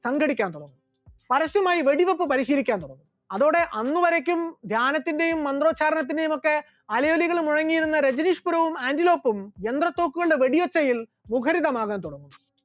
സംഘടിക്കാൻ തുടങ്ങി, പരസ്യമായി വെടിവെപ്പ് പരിശീലിക്കാൻ തുടങ്ങി, അതോടെ അന്ന് വരേയ്ക്കും ധ്യാനത്തിന്റെയും മന്ത്രോച്ചാരണത്തിന്റെയുമൊക്കെ അലയൊലികൾ മുഴങ്ങിയിരുന്ന രജനീഷ് പുരവും ആന്റിലോക്കും യന്ത്രത്തോക്കുകളുടെ വെടിയൊച്ചയിൽ മുഖരിതമാകാൻ തുടങ്ങി.